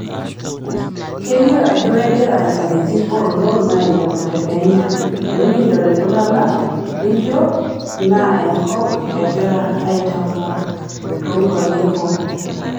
Kelio ajo kegira inkajijik oolon ailepu te kenya tenikidol itungana lijo Naenkop egirai aitambua to nkuapi e boo